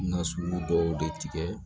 Na sugu dɔw de tigɛ